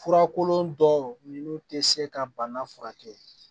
Furakolon dɔw ninnu tɛ se ka bana furakɛ